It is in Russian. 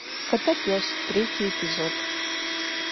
котопес третий эпизод